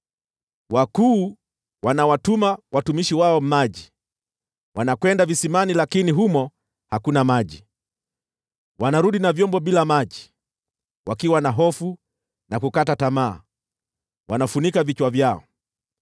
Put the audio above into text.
Wakuu wanawatuma watumishi wao maji; wanakwenda visimani lakini humo hakuna maji. Wanarudi na vyombo bila maji; wakiwa na hofu na kukata tamaa, wanafunika vichwa vyao.